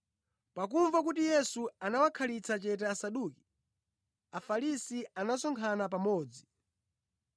Pakumva kuti Yesu anawakhalitsa chete Asaduki, Afarisi anasonkhana pamodzi.